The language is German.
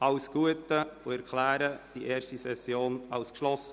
Ich wünsche Ihnen alles Gute und erkläre die erste Session für geschlossen.